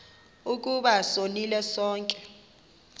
ukuba sonile sonke